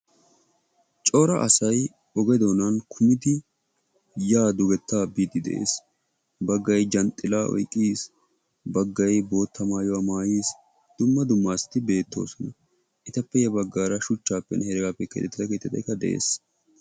cora asay oge doonan kummidi yaa dugettaa biidi de'ees. baggay zhanxxilaa oyqqis, bagay dumma dumma maayuwa maayis, etappe ya bagaara shuchaappe keexettida keettay de'ees.